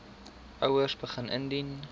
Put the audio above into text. ouers begin indien